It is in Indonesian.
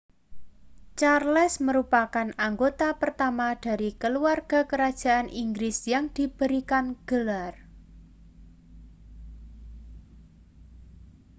charles merupakan anggota pertama dari keluarga kerajaan inggris yang diberikan gelar